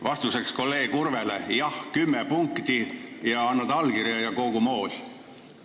Vastuseks kolleeg Urvele: jah, kümme punkti, annad allkirja ja kogu moos.